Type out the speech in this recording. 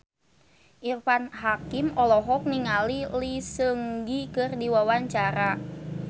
Irfan Hakim olohok ningali Lee Seung Gi keur diwawancara